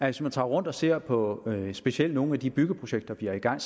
hvis man tager rundt og ser på specielt nogle af de byggeprojekter der er i gang